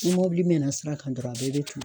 Ni mɔbili mɛnna sira kan dɔrɔn a bɛɛ bɛ toli.